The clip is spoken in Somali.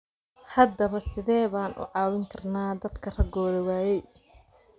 Haddaba sidee baan u caawin karnaa dadka ragooda waayay?